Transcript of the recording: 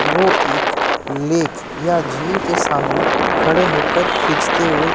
वो एक लेक या झील के सामने खड़े हो कर खींचते हुए--